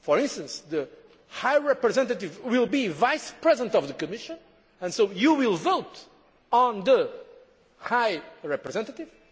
For instance, the High Representative will be Vice President of the Commission, and so you will vote on the High Representative.